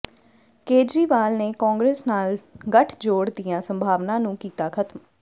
ਕੇਜਰੀਵਾਲ ਨੇ ਕਾਂਗਰਸ ਨਾਲ ਗਠਜੋੜ ਦੀਆਂ ਸੰਭਾਵਨਾ ਨੂੰ ਕੀਤਾ ਖਤਮ